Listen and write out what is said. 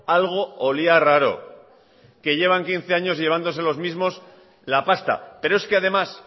algo olía raro que llevan quince años llevándose los mismos la pasta pero es que además